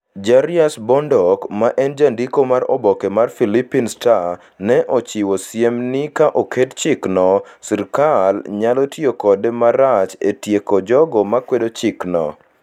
Jarius Bondoc, ma en jandiko mar oboke mar Philippine Star, ne ochiwo siem ni ka oket chikno, sirkal nyalo tiyo kode marach e tieko jogo makwedo chikno: